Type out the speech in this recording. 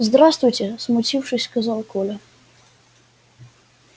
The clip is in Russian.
здравствуйте смутившись сказал коля